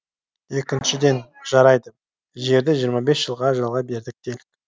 екіншіден жарайды жерді жиырма бес жылға жалға бердік делік